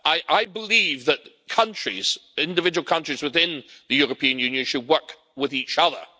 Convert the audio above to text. I believe that individual countries within the European Union should work with each other.